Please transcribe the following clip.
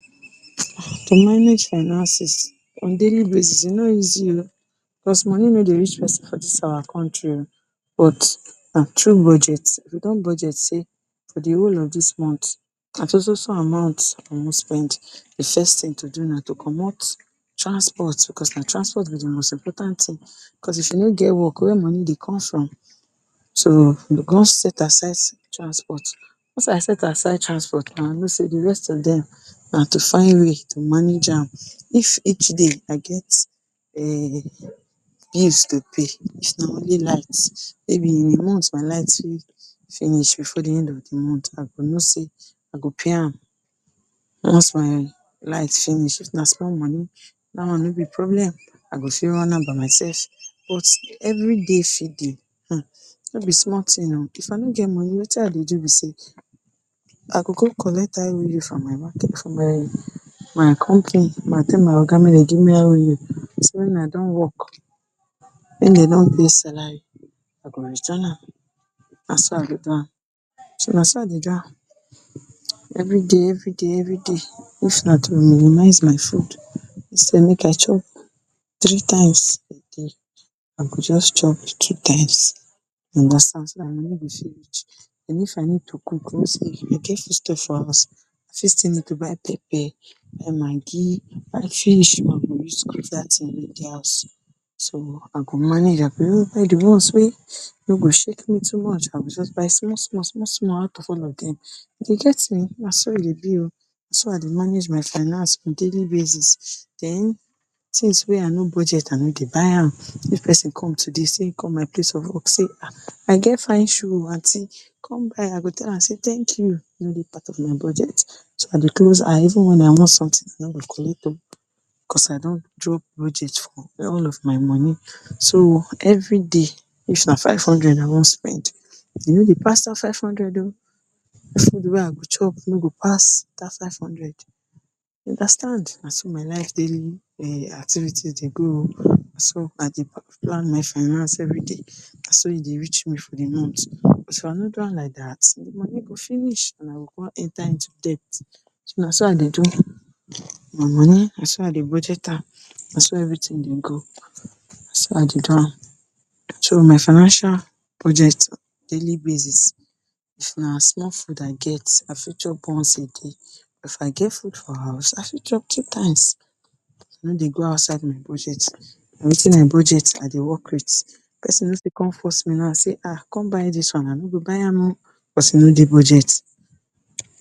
To manage finances on a daily basis e no easy o because Moni no dey reach pesin for dis our country o, but na tru budget. If you don budget sey, for de whole of dis month na so so so amount I wan spend. De first thing to do na to commot transport, because na transport be most important thing. Because if you no get work wey money dey con from so you go con set aside transport. Once I set aside transport now, I know sey de rest of dem na to find way to manage am. If each day I get um bills to pay, if na only light, maybe in a month my light fit finish before de end of de month. I go know sey I go pay am once my light finish, if na small money, dat one no be problem, I go fit run am by myself. But every day feeding um, no be small thing oo. If I no get Moni wetin I go do be sey, I go go collect IOU from my my company, I go tell ma Oga make dem give me IOU so wen I don work wen dem don pay salary I go return am. Na so I go do am. So, na so I dey do am every day, every day, every day. If na to minimize my food instead make I chop three times a day, I go just chop two times, you understand. So dat Moni go fit reach, and if I need to cook I get foodstuffs for house, I fit still need to buy pepper, buy Maggi, buy fish wey I go use cook dat thing wey dey house. So, I go manage am buy de one’s wey, wey go shake me too much, I go just buy small-small, small-small out of all of dem, you dey get me. Na so e dey be oo. Na so I dey manage my finance on a daily basis. Den, things wey I no budget I no dey buy am, if pesin come today sey e come my place of work sey um I get fine shoe oo aunty come buy I go tell am thank you, e no dey part of my budget. So, I dey close eye even if I want something. I no go collect o because I don draw budget for all of my Moni. So, every day if na five hundred I wan spend, e no dey pass dat five hundred o. De food wey I go chop no go pass dat five hundred, you understand. Na so my life daily activities dey go o. So, I dey plan my finance every day, na so e dey reach me for de month. If I no do am like dat, de Moni go finish, and I go come enter into debt. So na so I dey do, my Moni, na so I dey budget am. Na so everything dey go. Na so I dey do am, my financial budget on a daily basis, if na small food I get I fit chop once a day. If I get food for house I fit chop two times. I no dey go outside my budget, na wetin I budget I dey work with. Pesin no fit con force me na say ha con buy dis one, I no go buy am o because e no dey budget.